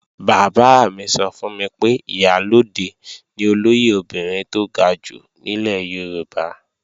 Bàbá mi sọ fún mi pé Ìyálóde ni olóyè obìnrin tó ga jù nílẹ̀ Yorùbá